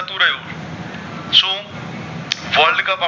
worldcup